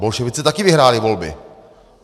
Bolševici taky vyhráli volby.